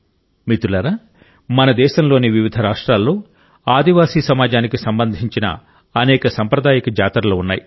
మిత్రులారా మన దేశంలోని వివిధ రాష్ట్రాల్లో ఆదివాసీ సమాజానికి సంబంధించిన అనేక సాంప్రదాయిక జాతరలు ఉన్నాయి